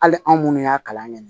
Hali anw minnu y'a kalan kɛ